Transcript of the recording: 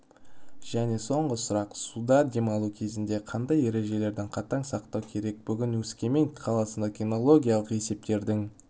және соңғы сұрақ суда демалу кезінде қандай ережелерді қатаң сақтау керек бүгін өскемен қаласында кинологиялық есептердің